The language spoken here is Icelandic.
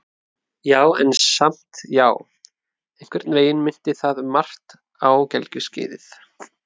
Já, en samt- já, einhvern veginn minnti það um margt á gelgjuskeiðið.